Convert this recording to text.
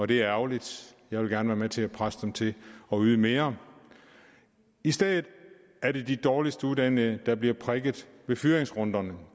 det er ærgerligt jeg vil gerne være med til at presse dem til at yde mere i stedet er det de dårligst uddannede der bliver prikket i fyringsrunderne